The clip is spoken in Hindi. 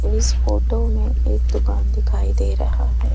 इस फोटो में एक दुकान दिखाई दे रहा है।